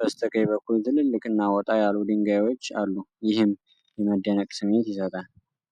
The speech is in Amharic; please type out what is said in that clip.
በስተቀኝ በኩል ትልልቅና ወጣ ያሉ ድንጋዮች አሉ። ይህም የመደነቅ ስሜት ይሰጣል።